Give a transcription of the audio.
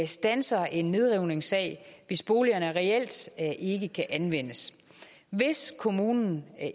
standser en nedrivningssag hvis boligerne reelt ikke kan anvendes hvis kommunen